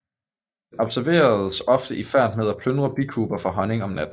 Den observeres ofte i færd med at plyndre bikuber for honning om natten